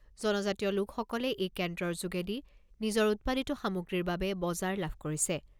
জনজাতিয়লোকসকলে এই কেন্দ্ৰৰ যোগেদি নিজৰ উৎপাদিত সামগ্ৰীৰ বাবে বজাৰ লাভ কৰিছে।